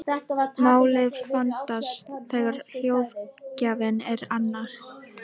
Málið vandast þegar hljóðgjafinn er annar.